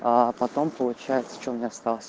а потом получается что меня у осталось